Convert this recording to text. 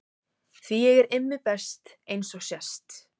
Því ég er Immi best eins og sést.